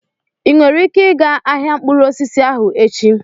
Ị nwere ike ịga ahịa mkpụrụ osisi ahụ echi?